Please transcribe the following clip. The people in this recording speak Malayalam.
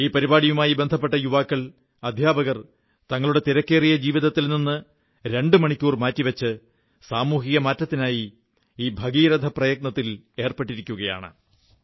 ഈ പരിപാടിയുമായി ബന്ധപ്പെട്ട യുവാക്കൾ അധ്യാപകർ എന്നിവർ തങ്ങളുടെ തിരക്കേറിയ ജീവിതത്തിൽ നിന്ന് രണ്ടു മണിക്കൂർ മാറ്റി വച്ച് സാമൂഹിക മാറ്റത്തിനായി ഈ ഭഗീരഥ പ്രയത്നത്തിൽ ഏർപ്പെട്ടിരിക്കയാണ്